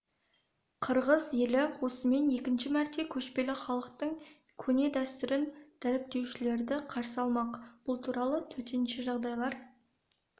қырғыз елі осымен екінші мәрте көшпелі халықтың көне дәстүрін дәріптеушілерді қарсы алмақ бұл туралы төтенше жағдайлар